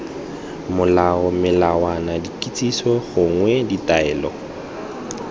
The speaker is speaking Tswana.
molao melawana dikitsiso gongwe ditaelo